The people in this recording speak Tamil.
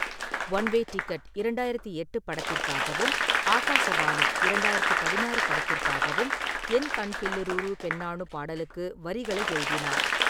ஒன் வே டிக்கெட் இரண்டாயிரத்து எட்டு படத்திற்காகவும், ஆகாஷவாணி இரண்டாயிரத்து பதினாறு படத்திற்காகவும் "என் கல்பில்லலுரு பெண்ணானு" பாடலுக்கு வரிகளை எழுதினார்.